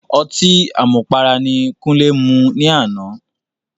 Ọtí àmupara ni Kúnlé mu ní àná.